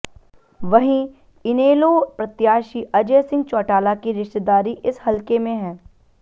वहीं इनेलो प्रत्याशी अजय सिंह चौटाला की रिश्तेदारी इस हलके में है